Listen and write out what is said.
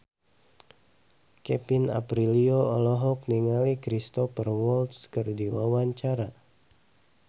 Kevin Aprilio olohok ningali Cristhoper Waltz keur diwawancara